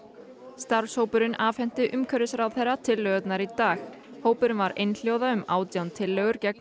starfshópurinn afhenti umhverfisráðherra tillögurnar í dag hópurinn var einhljóða um átján tillögur gegn